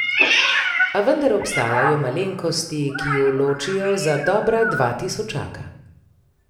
A vendar obstajajo malenkosti, ki ju ločijo za dobra dva tisočaka.